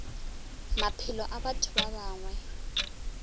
maphelo a batho ba bangwe